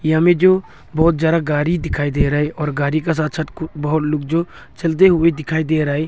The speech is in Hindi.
यहा मे जो बहुत ज्यादा गारी दिखाई दे रहा है और गारी का साथ साथ कु बहुत लोग जो चलते हुए दिखाई दे रहा है।